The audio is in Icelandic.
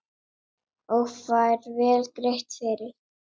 Og fær vel greitt fyrir.